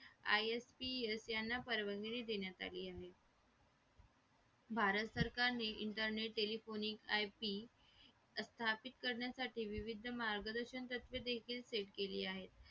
ISPS यांना परवानगी देण्यात आली आहे भारत सरकारने internet telephonic IP स्थापित करण्यासाठी विविध मार्गदर्शन तत्वे देखील सेट केली आहेत